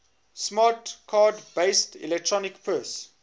smart card based electronic purse